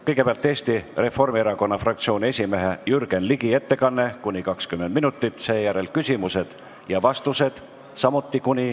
Kõigepealt on Eesti Reformierakonna fraktsiooni esimehe Jürgen Ligi ettekanne , seejärel on küsimused ja vastused .